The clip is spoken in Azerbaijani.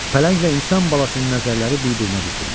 Pələnglə insan balasının nəzərləri bir-birinə dikildi.